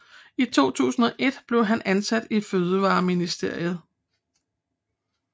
I 2001 blev han ansat i Fødevareministeriet